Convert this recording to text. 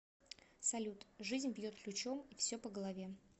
салют жизнь бьет ключом и все по голове